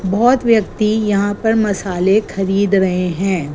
बहोत व्यक्ति यहां पर मसाले खरीद रहे हैं।